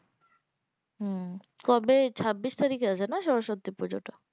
হম কবে ছাব্বিশ তারিখে আছে না সরস্বতী টা